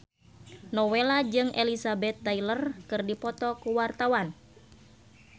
Nowela jeung Elizabeth Taylor keur dipoto ku wartawan